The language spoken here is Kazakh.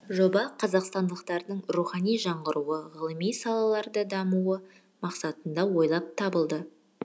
жоба қазақстандықтардың рухани жаңғыруы ғылыми салаларда дамуы мақсатында ойлап табылды